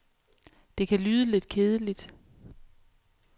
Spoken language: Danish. Det kan lyde lidt kedeligt.